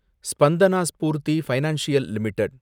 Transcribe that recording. Spandana Sphoorty financial limited